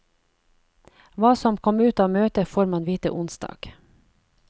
Hva som kom ut av møtet får man vite onsdag.